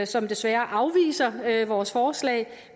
som desværre afviser vores forslag